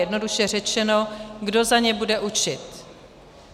Jednoduše řečeno, kdo za ně bude učit.